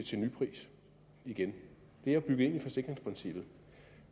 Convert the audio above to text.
til nypris igen det er jo bygget ind i forsikringsprincippet og